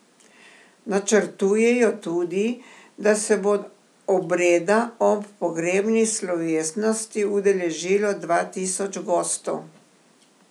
Načrtujejo tudi, da se bo obreda ob pogrebni slovesnosti udeležilo dva tisoč gostov.